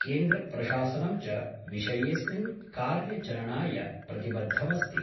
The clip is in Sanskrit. केन्द्रप्रशासनं च विषयेऽस्मिन् कार्यचरणाय प्रतिबद्धमस्ति।